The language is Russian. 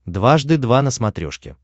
дважды два на смотрешке